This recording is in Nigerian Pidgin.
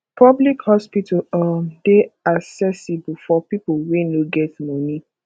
public hospital um dey accessible for pipo wey no get money